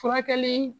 Furakɛli